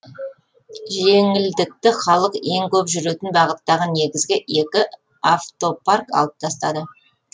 жеңілдікті халық ең көп жүретін бағыттағы негізгі екі автопарк алып тастады